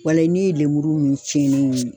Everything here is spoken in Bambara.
Wala ne ye lemuru min tiɲɛ ne ye.